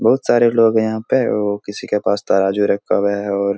बहुत सारे लोग हैं यहाँ पे और किसी के पास तराजू रखा हुआ और--